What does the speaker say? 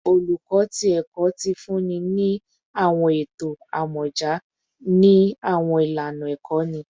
Oluko ti Ẹkọ ti funni ni awọn eto amọja ni awọn ilana ikọni